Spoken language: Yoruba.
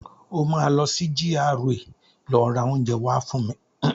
O máa lọ sí GRA lọ rà oúnjẹ wá fún mi.